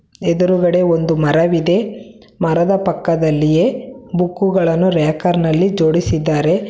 ಎದುರುಗಡೆ ಒಂದು ಮರವಿದೆ ಮರದ ಪಕ್ಕದಲ್ಲಿಯೇ ಬುಕ್ಕುಗಳನ್ನು ರಾಕರ್ ನಲ್ಲಿ ಜೋಡಿಸಿದ್ದಾರೆ.